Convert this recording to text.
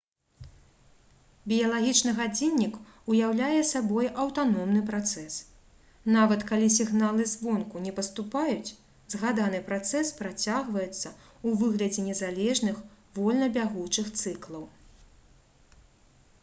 біялагічны гадзіннік уяўляе сабой аўтаномны працэс нават калі сігналы звонку не паступаюць згаданы працэс працягваецца ў выглядзе незалежных вольна бягучых цыклаў